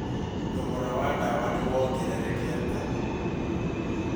Thogora wa ndawa nĩ wongererekete